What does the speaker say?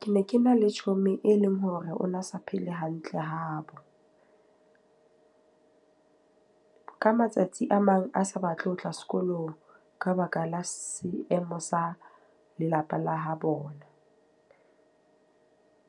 Ke ne ke na le chomi e leng hore o na sa phele hantle habo. Ka matsatsi a mang a sa batle ho tla sekolong ka baka la seemo sa lelapa la habona.